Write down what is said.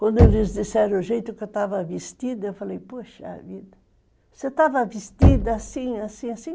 Quando eles disseram o jeito que eu estava vestida, eu falei, poxa vida, você estava vestida assim, assim, assim?